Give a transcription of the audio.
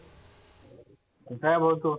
काय भाऊ तो?